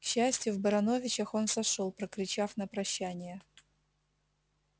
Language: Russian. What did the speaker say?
к счастью в барановичах он сошёл прокричав на прощание